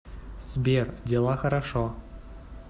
сбер дела хорошо